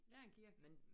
Det er en kirke